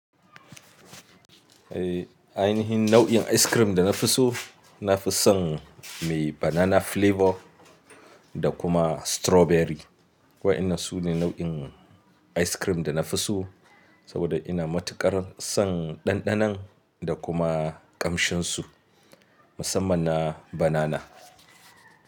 Eh, ainihin nau'in ice cream da na fi so, na fi son mai banana flavor da kuma strawberry. Wa'ina su ne nau'in ice cream da na fi so, saboda ina matuƙar son ɗanɗanon da kuma ƙamshinsu, musamman na banana.